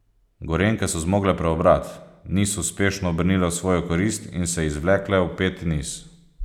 Gorenjke so zmogle preobrat, niz uspešno obrnile v svojo korist in se izvlekle v peti niz.